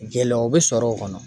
Gɛlɛyaw bi sɔrɔ o kɔnɔ